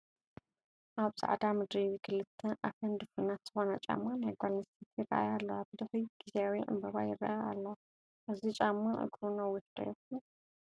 ኣብ ፃዕዳ ምድሪ ክልተ ኣፈን ድፉናት ዝኾና ጫማ ናይ ጓል ኣነስተይቲ ይረኣያ ኣለዋ፡፡ ብድሕሪት ጊዛዊ ዕንበባ ይረአ ኣሎ፡፡ እዚ ጫማ እግሩ ነዊሕ ዶ ይኾን?